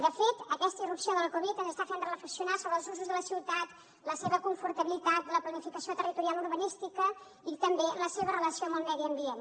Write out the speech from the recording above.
de fet aquesta irrupció de la covid ens està fent reflexionar sobre els usos de la ciutat la seva confortabilitat la planificació territorial urbanística i també la seva relació amb el medi ambient